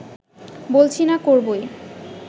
বলছি না করবোই